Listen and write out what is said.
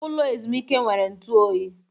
Ụlọ ezumike nwere ntụ oyi.